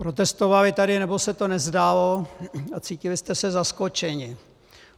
Protestovali tady, nebo se to nezdálo, a cítili jste se zaskočení.